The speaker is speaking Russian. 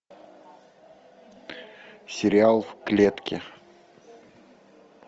сериал в клетке